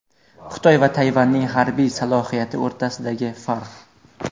Xitoy va Tayvanning harbiy salohiyati o‘rtasidagi farq.